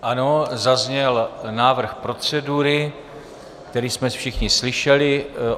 Ano, zazněl návrh procedury, který jsme všichni slyšeli.